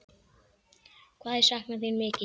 Hvað ég sakna þín mikið.